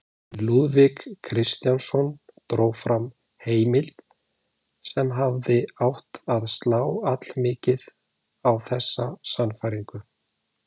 En Lúðvík Kristjánsson dró fram heimild sem hefði átt að slá allmikið á þessa sannfæringu.